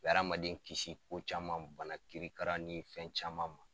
O be adamaden kisi ko caman bana kirikara ni fɛn caman ma